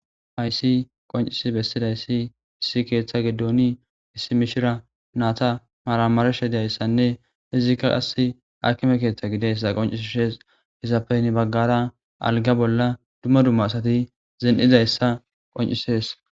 Haysi qoncisi bessidayssi issi keeththa gidooni issi mishira naata maramarsha dayssanne izikka qass akime keeththa gideyssa qoncis shes gisappeyni baggara alga bolla dumma dumma asati zeen7izayssa qoncises.